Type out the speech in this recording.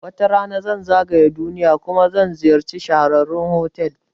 Wata rana zan zagaya duniya kuma zan ziyarci shahararrun fotel